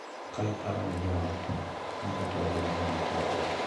Ka iparo ne jo ot ni kata obedo ni nitie pek,